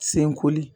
Senkoli